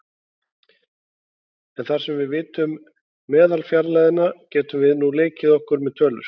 En þar sem við vitum meðalfjarlægðina getum við nú leikið okkur með tölur.